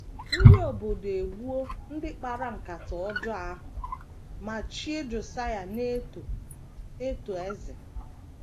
Ndị obodo egbuo ndị kpara nkata ọjọọ ahụ ma chie Josaịa na - eto eto eze.